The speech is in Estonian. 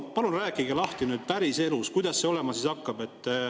Palun rääkige lahti nüüd päriselus, kuidas see olema hakkab.